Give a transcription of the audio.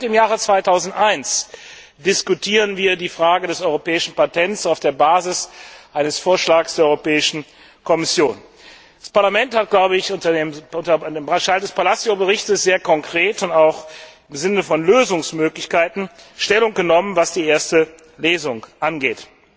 Seit dem Jahr 2001 diskutieren wir die Frage des Europäischen Patents auf der Basis eines Vorschlags der Europäischen Kommission. Das Parlament hat im Rahmen des Berichts Palacio sehr konkret und auch im Sinne von Lösungsmöglichkeiten Stellung genommen, was die erste Lesung angeht.